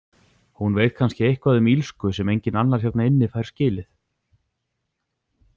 Hún veit kannski eitthvað um illsku sem enginn annar hérna inni fær skilið.